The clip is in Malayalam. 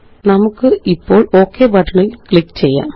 നമുക്കിപ്പോള്Ok ബട്ടണില് ക്ലിക്ക് ചെയ്യാം